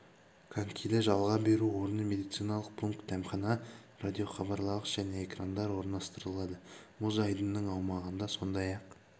конькиді жалға беру орны медициналық пункт дәмхана радиохабарлағыш және экрандар орналастырылады мұз айдынының аумағында сондай-ақ